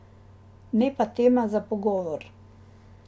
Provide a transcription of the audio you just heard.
Ne pa tema za pogovor.